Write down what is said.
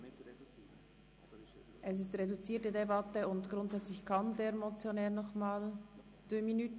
Wir führen eine reduzierte Debatte, und grundsätzlich kann der Motionär nochmals sprechen.